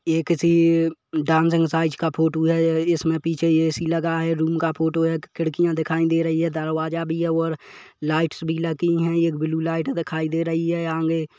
ये किसी dance exercise का फोटो है या इसमें पीछे ए.सी लगा है रूम का फोटो है खिड़कियां दिखायी दे रही है दरवाजा भी है और लाइटस भी लगी है एक ब्लू लाइट दिखायी दे रही है आंगे --